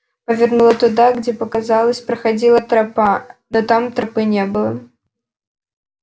повернула туда где показалось проходила тропа но там тропы не было